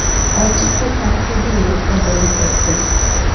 ochiq va tanqidiy ruhda bo‘lib o‘tdi.